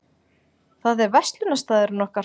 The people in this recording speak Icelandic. Það er verslunarstaðurinn okkar.